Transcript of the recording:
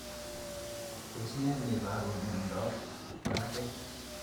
Tos ne neiparu miondop mag'atet